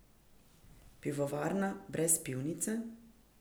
Pivovarna brez pivnice?